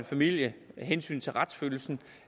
familien af hensyn til retsfølelsen